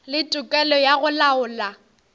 le tokelo ya go laola